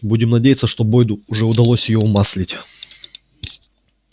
будем надеяться что бойду уже удалось её умаслить